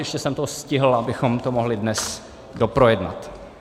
Ještě jsem to stihl, abychom to mohli dnes doprojednat.